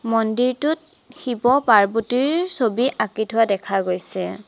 মন্দিৰটোত শিৱ পাৰ্বতীৰ ছবি আঁকি থোৱা দেখা গৈছে।